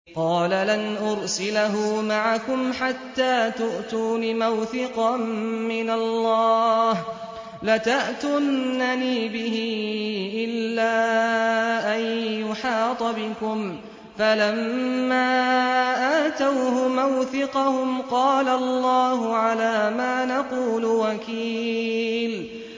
قَالَ لَنْ أُرْسِلَهُ مَعَكُمْ حَتَّىٰ تُؤْتُونِ مَوْثِقًا مِّنَ اللَّهِ لَتَأْتُنَّنِي بِهِ إِلَّا أَن يُحَاطَ بِكُمْ ۖ فَلَمَّا آتَوْهُ مَوْثِقَهُمْ قَالَ اللَّهُ عَلَىٰ مَا نَقُولُ وَكِيلٌ